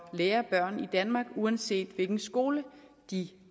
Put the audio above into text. lære børn i danmark uanset hvilken skole de